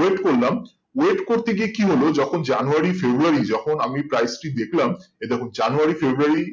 wait করলাম wait করতে গিয়ে কি হলো যখন জানুয়ারি ফেব্রুয়ারি যখন আমি price টি দেখলাম এই দেখো জানুয়ারি ফেব্রুয়ারি